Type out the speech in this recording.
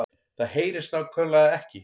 Það HEYRIST NÁKVÆMLEGA EKKI